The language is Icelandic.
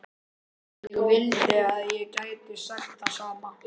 Ég vildi að ég gæti sagt það sama.